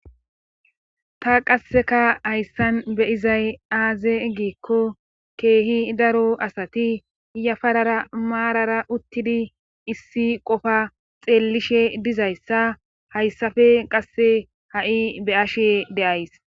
Ta qasseka hayssan be izay aaze giikko keehi daro asati yafarara maarara uttidi issi qofa xeellishe dizayssa hayssafe qasse ha'i be ashe deays.